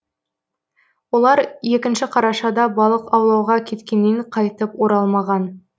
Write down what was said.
олар екінші қарашада балық аулауға кеткеннен қайтып оралмаған